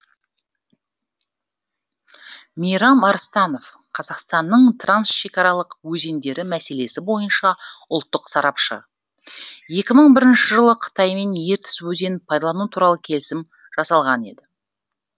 мейрам арыстанов қазақстанның трансшекаралық өзендері мәселесі бойынша ұлттық сарапшы екі мың бірінші жылы қытаймен ертіс өзенін пайдалану туралы келісім жасалған еді